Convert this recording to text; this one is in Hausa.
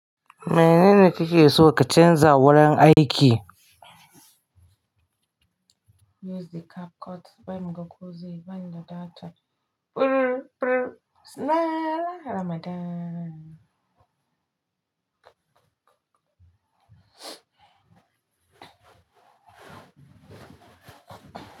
Menene kike so ka canza wurin aiki? Use the cap cut. Ban muka kuje, ban da data. Purrr, purrr. Laa laa Ramadan.